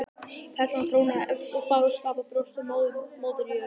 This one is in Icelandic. Perlan trónaði efst eins og fagurskapað brjóst á Móður jörð.